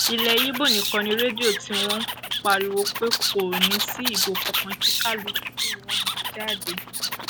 ilé ibo nìkan ni rédíò tiwọn ti ń pariwo pé kò ní í sí ìbò kankan kí kálukú má jáde